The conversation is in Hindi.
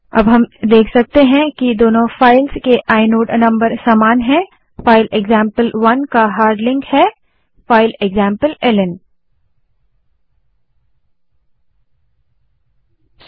अब हम देख सकते हैं कि दोनों फाइल्स के आइनोड नंबर समान हैं फाइल एक्जाम्पल1 का हार्ड लिंक फाइल एक्जाम्पलेल्न है